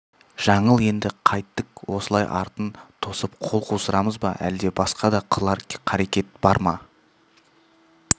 жаңыл енді қайттік осылай артын тосып қол қусырамыз ба әлде басқа да қылар қарекет бар ма